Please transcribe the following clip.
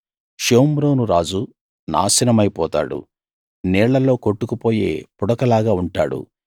షోమ్రోను రాజు నాశనమైపోతాడు నీళ్లలో కొట్టుకు పోయే పుడకలాగా ఉంటాడు